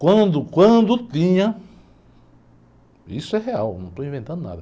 Quando, quando tinha, isso é real, não estou inventando nada.